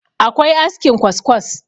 akwai askin kwaskwas